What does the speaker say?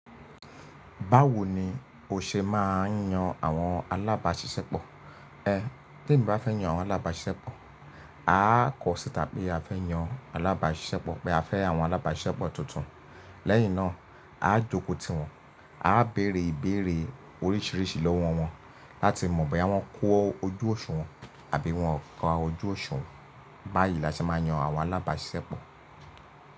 Báwo ni o ṣe máa ń yan àwọn alábàáṣiṣẹ́pọ̀? Ẹ, t’emi bá fẹ́ yan àwọn alábáṣiṣẹ́pọ̀, a á kọ sí ita pe a fẹ́ yan alábáṣiṣẹ́pọ̀ pé a fẹ́ àwọn alábáṣiṣẹ́pọ̀ tuntun. Lẹ́yìn náà, a á jókòó tìwọn, a á bèrè ìbéèrè oríṣiríṣi lọ́wọ́ wọn láti mọ̀ bóyá wọ́n kó ojú òṣùwọ̀n àbí wọ́n ká ojú òṣùwọ̀n. Báyìí la ṣe máa ń yan àwọn alábáṣiṣẹ́pọ̀.